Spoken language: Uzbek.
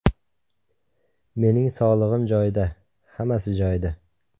Mening sog‘lig‘im joyida, hammasi joyida.